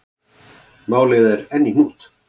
Málið er enn í hnút.